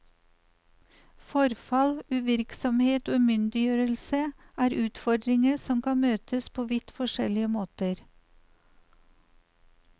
Forfall, uvirksomhet og umyndiggjørelse er utfordringer som kan møtes på vidt forskjellige måter.